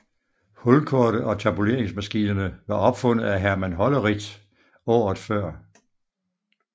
Hulkortet og tabuleringsmaskinerne var opfundet af Herman Hollerith året før